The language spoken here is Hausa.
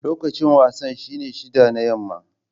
Lokacin wasan shine shida na yamma.